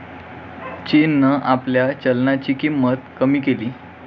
चीननं आपल्या चलनाची किंमत कमी केलीय.